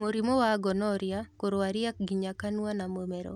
Mũrimũ wa gonorrhea kũrwaria nginya kanua na mũmero